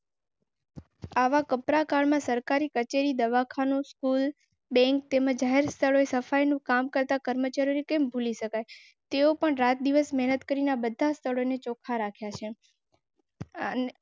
આવા કપરા કાળમાં સરકારી કચેરી દવાખાનું સ્કૂલ બૈંક જાહેર સ્થળોએ સફાઈનું કામ કરતા કર્મચારી કે તેઓ પણ રાત દિવસ મહેનત કરીના બતા સ્તરો ચોખા.